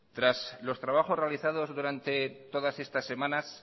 tras los trabajos realizados durante todas estas semanas